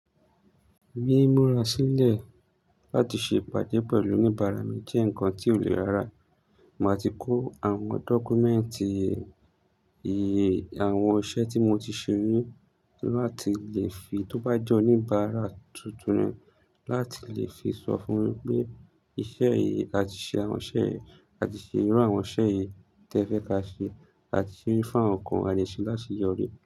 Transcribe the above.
Mi, mura sílẹ̀ láti ṣe ìpàdé pẹ̀lú oníbàárà mi jẹ́ nǹkan tí ò lè rá rà. Ma ti kó àwọn dọ́kúmẹ́ǹtì ìyè àwọn iṣẹ́ tí mo ti ṣe rí, kí wọ́n má ti lè fi, tó bá jẹ́ oníbàárà tuntun ni, láti lè fi sọ fún mi pé iṣẹ́ yìí, a ti ṣe àwọn iṣẹ́ yìí, a ti ṣe irú àwọn iṣẹ́ yìí tí ẹ fẹ́ ká ṣe, a ti se rí fún àwọn kan à de sẹ láseyori.